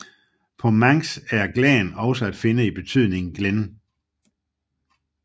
På manx er glan også at finde i betydningen glen